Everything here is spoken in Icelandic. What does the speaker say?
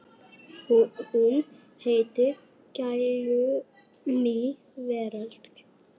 Hún heitir Glæný veröld.